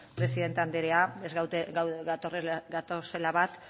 presidente anderea ez gatozela bat